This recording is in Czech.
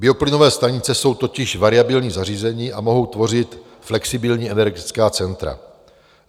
Bioplynové stanice jsou totiž variabilní zařízení a mohou tvořit flexibilní energetická centra.